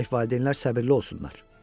Gərək valideynlər səbirli olsunlar.